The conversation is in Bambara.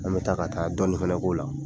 An bɛ taa ka taa dɔɔnin fana k'o la.